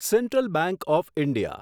central bank of India